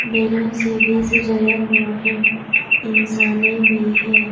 Balloon से भी सजाया हुआ है इंसाने भी हैं।